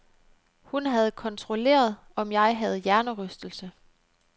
Hun havde kontrolleret, om jeg havde hjernerystelse.